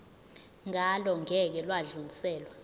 ngalo ngeke lwadluliselwa